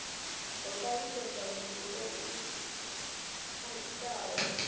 ho talutshedzwa muthu o itaho